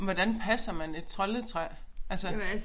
Men hvordan passer man et troldetræ altså